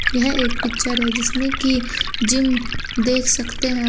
यह एक पिक्चर है जिसमें कि जिम देख सकते हैं।